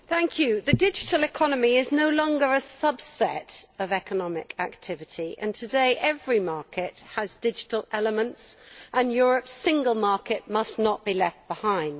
Madam President, the digital economy is no longer a subset of economic activity. Today every market has digital elements, and Europe's single market must not be left behind.